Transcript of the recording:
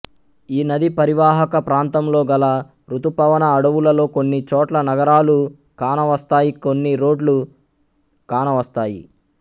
ఈ నదీ పరీవాహక ప్రాంతంలోగల ఋతుపవన అడవులలో కొన్ని చోట్ల నగరాలు కానవస్తాయి కొన్ని రోడ్లు కానవస్తాయి